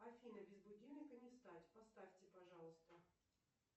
афина без будильника не встать поставьте пожалуйста